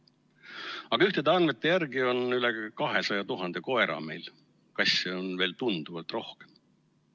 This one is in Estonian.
Aga ühtede andmete järgi on üle 200 000 koera meil, kasse on veel tunduvalt rohkem.